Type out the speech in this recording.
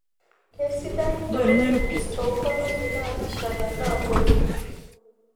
kesidai oloingange too ngolongi naapishana naaponu